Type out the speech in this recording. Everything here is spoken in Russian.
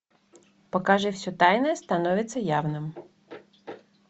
покажи все тайное становится явным